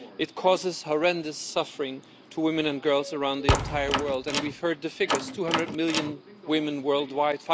It causes horrendous suffering to women and girls around the entire world, and we have heard the figures 200 million women worldwide